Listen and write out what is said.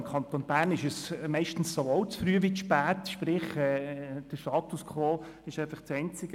Im Kanton Bern ist es hier sowohl zu früh als auch zu spät – sprich, der Status quo ist das Einzige: